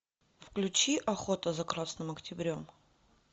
включи охота за красным октябрем